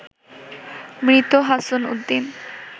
মৃত হাছন উদ্দিন